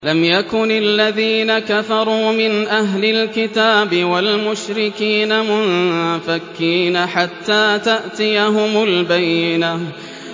لَمْ يَكُنِ الَّذِينَ كَفَرُوا مِنْ أَهْلِ الْكِتَابِ وَالْمُشْرِكِينَ مُنفَكِّينَ حَتَّىٰ تَأْتِيَهُمُ الْبَيِّنَةُ